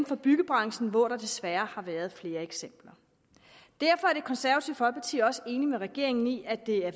for byggebranchen hvor der desværre har været flere eksempler derfor er det konservative folkeparti også enig med regeringen i at det er